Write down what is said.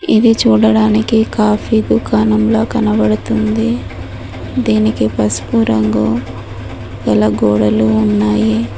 ఇది చూడడానికి కాఫీ దుకాణంలా కనబడుతుంది దీనికి పసుపు రంగు గల గోడలు ఉన్నాయి.